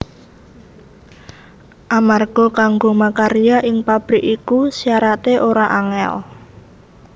Amarga kanggo makarya ing pabrik iku syarate ora angel